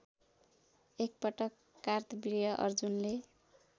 एकपटक कार्तवीर्य अर्जुनले